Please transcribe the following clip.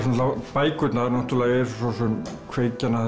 bækurnar eru kveikjan að